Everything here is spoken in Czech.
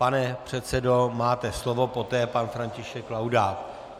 Pane předsedo, máte slovo, poté pan František Laudát.